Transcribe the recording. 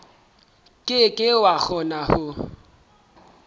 ke ke wa kgona ho